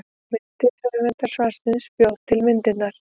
Myndir: Höfundur svarsins bjó til myndirnar.